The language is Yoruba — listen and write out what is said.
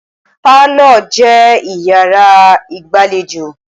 Parlour jẹ́ yàrá ìgbàlejò.